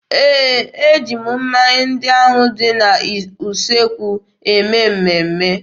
Ee, e ji mmanya ndị ahụ dị n'usekwu eme mmemme.